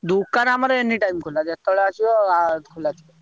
ଦୋକାନ ଆମର anytime ଖୋଲା ଯେତବେଳେ ଆସିବ ଆ ଖୋଲା ଥିବ।